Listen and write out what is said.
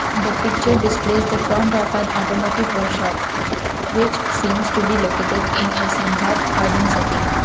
the picture display the front of an automatic workshop which seems to be located in assam what urban setting.